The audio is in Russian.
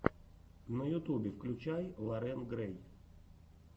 на ютубе включай лорен грэй